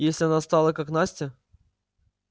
если она стала как настя